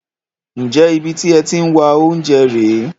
Ǹjẹ́ ibi tí ẹ ti ń wá oúnjẹ rè é?